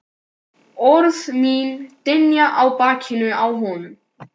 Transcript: Orð mín dynja á bakinu á honum.